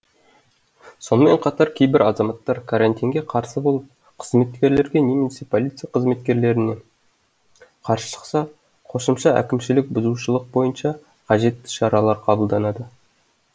сонымен қатар кейбір азаматтар карантинге қарсы болып қызметкерлерге немесе полиция қызметкерлеріне қарсы шықса қосымша әкімшілік бұзушылық бойынша қажетті шаралар қабылданады